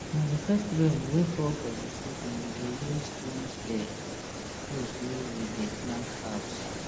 na the first rain wey fall for the season we dey use cleanse the um place wey we dey plant herbs